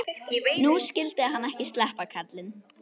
Nú skyldi hann ekki sleppa, karlinn.